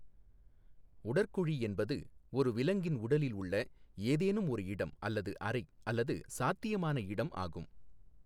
உடற்குழி என்பது ஒரு விலங்கின் உடலில் உள்ள ஏதேனும் ஒரு இடம் அல்லது அறை அல்லது சாத்தியமான இடம் ஆகும்.